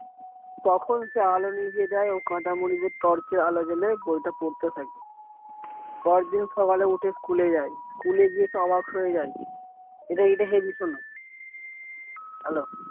তখন সে আলো নিভিয়ে দেয় ও কাঁথা মুড়ি দিয়ে torch এর এল জেলে বইটা পড়তে থাকে। পরের দিন সকালে উঠে school যায় school গিয়ে তো অবাক হয়ে যায় এটা এটা হেবি শুনো hello